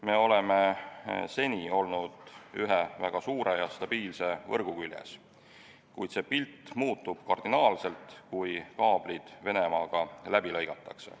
Me oleme seni olnud ühe väga suure ja stabiilse võrgu küljes, kuid see pilt muutub kardinaalselt, kui kaablid Venemaaga läbi lõigatakse.